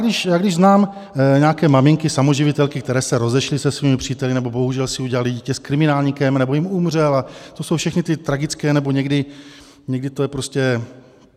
Když znám nějaké maminky samoživitelky, které se rozešly se svými příteli, nebo bohužel si udělaly dítě s kriminálníkem, nebo jim umřel, a to jsou všechny ty tragické... nebo někdy to je prostě...